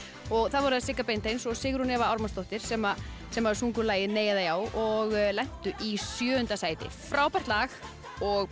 og það voru Sigga Beinteins og Sigrún Eva Ármannsdóttir sem sem sungu lagið nei eða já og lentu í sjöunda sæti frábært lag og